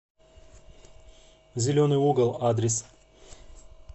зеленый угол адрес